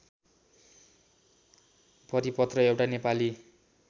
परिपत्र एउटा नेपाली